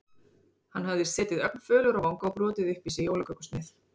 Hann hefði setið ögn fölur á vanga og brotið upp í sig jólakökusneið.